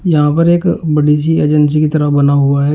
यहां पर एक बड़ी सी एजेंसी की तरह बना हुआ है।